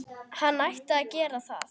Hann ætti að gera það.